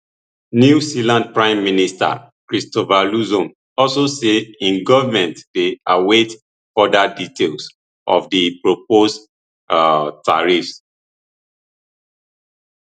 new zealands prime minister christopher luxon also say im govment dey await further details of di proposed um tariffs